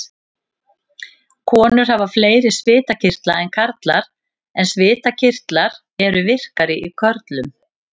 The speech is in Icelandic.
Konur hafa fleiri svitakirtla en karlar en svitakirtlar eru virkari í körlum.